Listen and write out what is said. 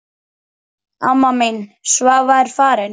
Amma mín Svava er farin.